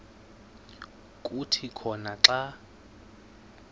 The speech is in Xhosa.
kuthi khona xa